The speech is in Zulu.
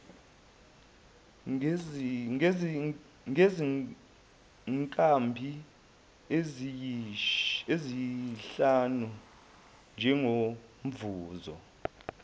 ngezinkabi eziyisihlanu njengomvuzo